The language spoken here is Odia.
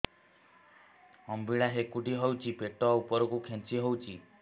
ଅମ୍ବିଳା ହେକୁଟୀ ହେଉଛି ପେଟ ଉପରକୁ ଖେଞ୍ଚି ହଉଚି